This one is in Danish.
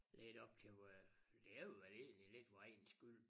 Lidt op til vor det er jo vel egentlig lidt vor egen skyld